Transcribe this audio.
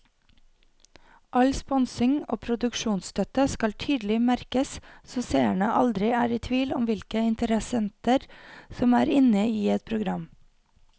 All sponsing og produksjonsstøtte skal tydelig merkes så seerne aldri er i tvil om hvilke interessenter som er inne i et program.